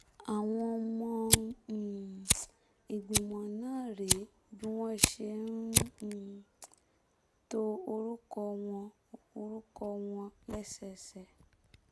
àwọn ọmọ um ìgbìmọ̀ náà rèé bí wọ́n ṣe um to orúkọ wọn orúkọ wọn lẹ́sẹẹsẹ